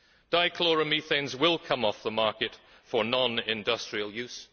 Dichloromethanes will come off the market for non industrial